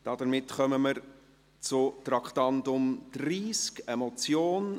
Damit kommen wir zum Traktandum 30, einer Motion: